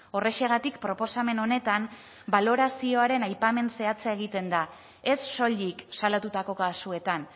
horrexegatik proposamen honetan balorazioaren aipamen zehatza egiten da ez soilik salatutako kasuetan